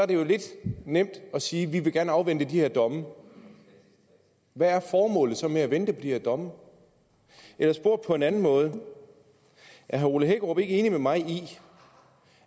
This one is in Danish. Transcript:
det jo lidt nemt at sige vi vil gerne afvente de her domme hvad er formålet så med at vente på de her domme eller spurgt på en anden måde er herre ole hækkerup ikke enig med mig i